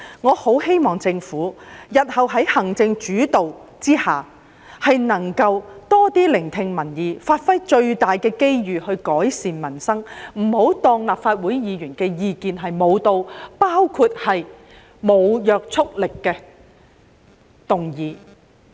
我很希望日後在行政主導之下，政府能夠多聆聽民意，把握最大的機遇來改善民生，不要不理會立法會議員的意見，包括無約束力的議案。